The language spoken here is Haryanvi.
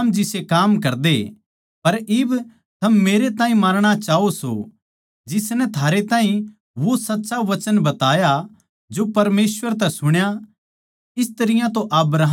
पर इब थम मेरै ताहीं मारणा चाहो सो जिसनै थारै ताहीं वो साच्चा वचन बताया जो परमेसवर तै सुण्या इस तरियां तो अब्राहम नै कोनी करया था